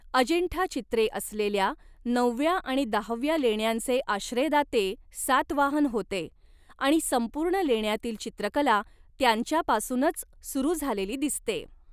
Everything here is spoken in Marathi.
अजिंठा चित्रे असलेल्या नवव्या आणि दहाव्या लेण्यांचे आश्रयदाते सातवाहन होते आणि संपूर्ण लेण्यातील चित्रकला त्यांच्यापासूनच सुरू झालेली दिसते.